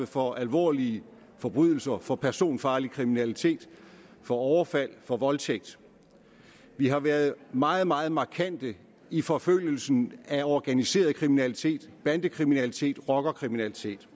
for alvorlige forbrydelser for personfarlig kriminalitet for overfald og for voldtægt vi har været meget meget markante i forfølgelsen af organiseret kriminalitet bandekriminalitet og rockerkriminalitet